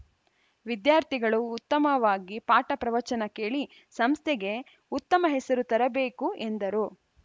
ವಿದ್ಯಾರ್ಥಿಗಳು ಉತ್ತಮವಾಗಿ ಪಾಠ ಪ್ರವಚನ ಕೇಳಿ ಸಂಸ್ಥೆಗೆ ಉತ್ತಮ ಹೆಸರು ತರಬೇಕು ಎಂದರು